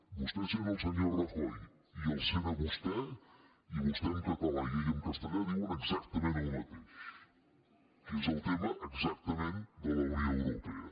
vostè sent el senyor rajoy i el sent a vostè i vostè en català i ell en castellà diuen exactament el mateix que és el tema exactament de la unió europea